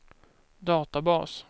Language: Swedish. databas